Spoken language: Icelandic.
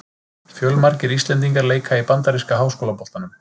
Fjölmargir íslendingar leika í bandaríska háskólaboltanum.